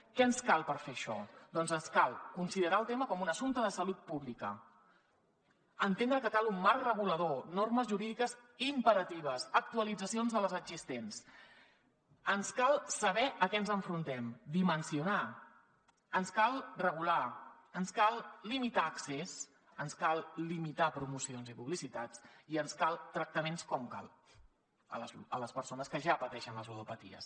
què ens cal per fer això doncs ens cal considerar el tema com un assumpte de salut pública entendre que cal un marc regulador normes jurídiques imperatives actualitzacions de les existents ens cal saber a què ens enfrontem dimensionar ens cal regular ens cal limitar accés ens cal limitar promocions i publicitats i ens calen tractaments com cal a les persones que ja pateixen les ludopaties